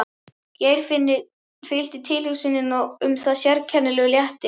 Geirfinni fylgdi tilhugsuninni um það sérkennilegur léttir.